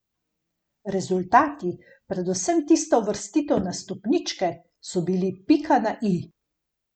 Rezultati, predvsem tista uvrstitev na stopničke, so bili pika na i.